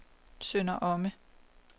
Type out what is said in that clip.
Sønder Omme